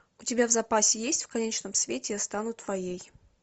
у тебя в запасе есть в конечном свете я стану твоей